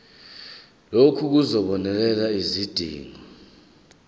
lokhu kuzobonelela izidingo